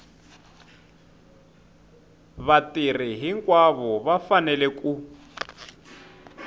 vatirhi hinkwavo va fanele ku